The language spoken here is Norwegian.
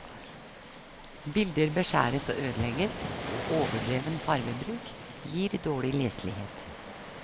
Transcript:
Bilder beskjæres og ødelegges, og overdreven farvebruk gir dårlig leselighet.